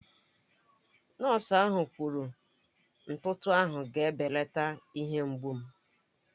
Nọọsụ ahụ kwuru ntụtụ ahụ ga-ebelata ihe mgbu m